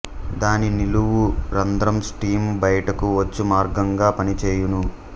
దాని నిలువు రంద్రం స్టీము బయటకు వచ్చు మార్గంగా పనిచేయును